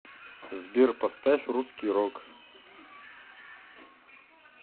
сбер поставь русский рок